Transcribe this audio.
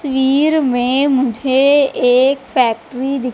तस्वीर में मुझे एक फैक्ट्री दिख--